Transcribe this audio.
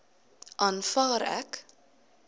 aanvaar ek